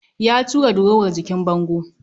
Ya tura durowar jikin bango